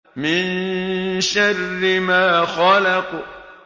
مِن شَرِّ مَا خَلَقَ